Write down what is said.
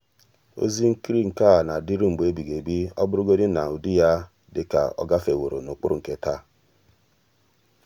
ọ́zị́ ìhè nkiri à nà-adị́rụ́ mgbe èbìghị́ ébí ọ́ bụ́rụ́godị́ nà ụ́dị́ yá dị kà ọ́ gàfèwòrọ n’ụ́kpụ́rụ́ nke taa.